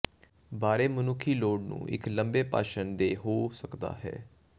ਬਾਰੇ ਮਨੁੱਖੀ ਲੋੜ ਨੂੰ ਇੱਕ ਲੰਬੇ ਭਾਸ਼ਣ ਦੇ ਹੋ ਸਕਦਾ ਹੈ